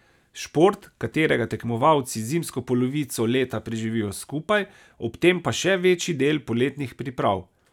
Šport, katerega tekmovalci zimsko polovico leta preživijo skupaj, ob tem pa še večji del poletnih priprav.